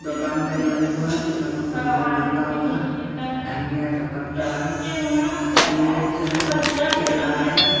दोकान में लंबू है लंबू का मुह बांधा हुआ है धनिया का पत्ता है मिर्च है केला है।